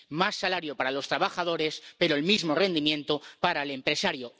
Más salario para los trabajadores, pero el mismo rendimiento para el empresario.